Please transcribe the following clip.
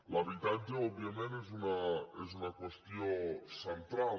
l’habitatge òbviament és una qüestió central